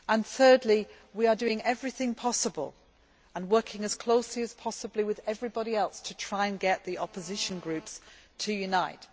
Thirdly, we are doing everything possible and working as closely as possible with everybody else to try and get the opposition groups to unite.